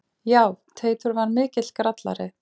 Já, Teitur var mikill grallari.